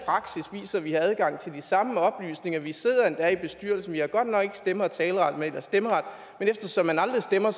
viser vi har adgang til de samme oplysninger vi sidder endda i bestyrelsen vi har godt nok ikke stemme og taleret men eftersom man aldrig stemmer